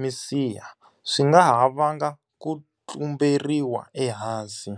misiha, swi nga ha vanga ku tlumberiwa ehansi.